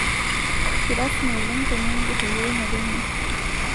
Kirasimi oleng' teninger eyieunoto ino